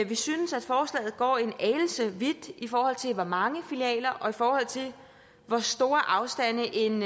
vi synes at forslaget går en anelse for vidt i forhold til hvor mange filialer og i forhold til hvor store afstande en